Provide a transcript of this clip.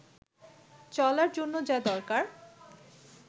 চলার জন্য যা দরকার